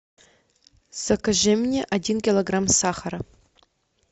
закажи мне один килограмм сахара